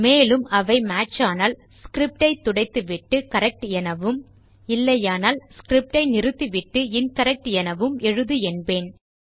மேலும் அவை மேட்ச் ஆனால் ஸ்கிரிப்ட் ஐ துடைத்துவிட்டு கரெக்ட் எனவும் இல்லையானால் ஸ்கிரிப்ட் ஐ நிறுத்திவிட்டு இன்கரெக்ட் எனவும் எழுது என்பேன்